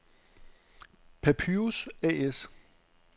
Papyrus A/S